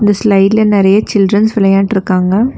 இந்த ஸ்லைடுல நெறைய சில்ட்ரன்ஸ் வெளயான்ட்ருக்காங்க.